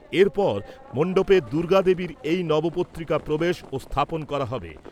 এরপর মণ্ডপে দুর্গাদেবীর এই নবপত্রিকা প্রবেশ ও স্থাপন করা হবে।